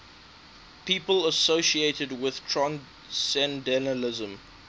people associated with transcendentalism